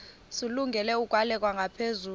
zilungele ukwalekwa ngaphezulu